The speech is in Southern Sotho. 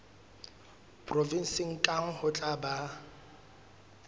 provenseng kang ho tla ba